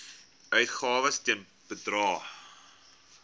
uitgawes ten bedrae